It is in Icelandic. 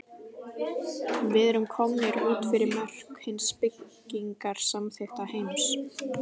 Við erum komnir út fyrir mörk hins byggingarsamþykkta heims.